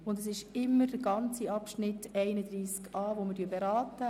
Wir beraten den ganzen Abschnitt betreffend Artikel 31a.